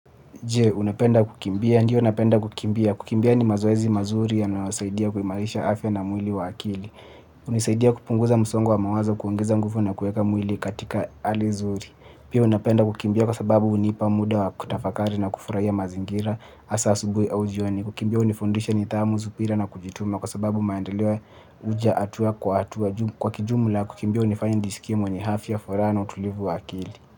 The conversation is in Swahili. Je, unapenda kukimbia. Ndiyo unapenda kukimbia. Kukimbia ni mazoezi mazuri yanayosaidia kuimarisha afya na mwili wa akili. Hunisaidia kupunguza msongo wa mawazo, na kuweka mwili katika hali nzuri. Pia napenda kukimbia kwa sababu hunipa muda wa kutafakari na kufurahia mazingira hasa asubuhi au jioni. Kukimbia hunifundisha nidhamu subira na kujituma kwa sababu maendeleo huja hatua kwa hatua kwa kijumla kukimbia hunifanya nijisikie mwenye ni afya furaha na utulivu wa akili.